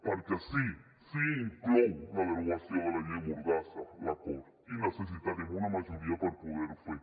perquè sí sí que inclou la derogació de la llei mordassa l’acord i necessitarem una majoria per poder ho fer